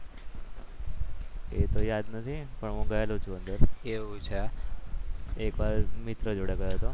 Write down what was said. એ તો યાદ નથી પણ હું ગયેલો છું અંદર એકવાર મિત્ર જોડે ગયો હતો.